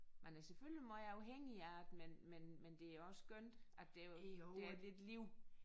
Man er selvfølgelig måj afhængig af det men men men det er også skønt at der der er lidt liv